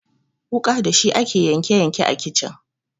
Wuƙa dashi ake yanke yanke a kicin.